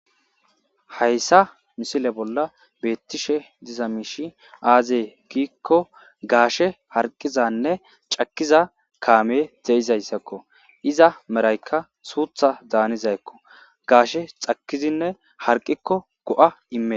hayssa misile bolla beettishe diza miishi aazee giikko gaashe harqizanne cakiza kaame deizayssakko iza meraykka suutha daanizayekko gaashe cakizinne harqikko go7a immee